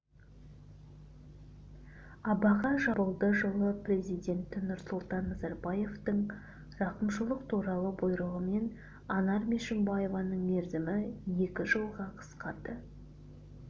абақтыға жабылды жылы президенті нұрсұлтан назарбаевтың рақымшылық туралы бұйрығымен анар мешімбаеваның мерзімі екі жылға қысқарды